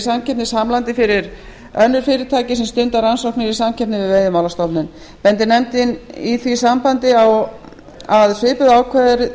samkeppnishamlandi fyrir önnur fyrirtæki sem stunda rannsóknir í samkeppni við veiðimálastofnun bendir nefndin í því sambandi á að svipuð ákvæði